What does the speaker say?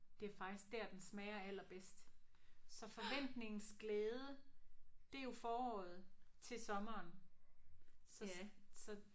Det er faktisk der den smager allerbedst. Så forventningens glæde det er jo foråret til sommeren så så